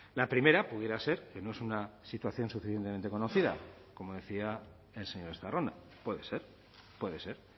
la primera pudiera ser que no es una situación suficientemente conocida como decía el señor estarrona puede ser puede ser